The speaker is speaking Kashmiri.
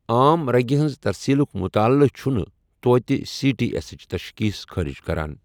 عام رگہِ ہنٛز ترسیلُک مطالعہٕ چھُنہٕ تۄتہِ سی ٹی ایسٕچ تشخیٖص خٲرج کران۔